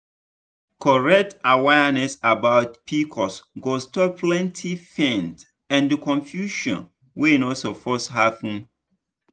correct awareness about pcos go stop plenty pain and confusion wey no suppose happen.